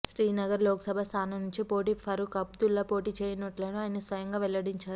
శ్రీనగర్ లోక్సభ స్థానం నుంచి పోటీ ఫరూక్ అబ్దుల్లా పోటీ చెయ్యనున్నట్లు ఆయన స్వయంగా వెల్లడించారు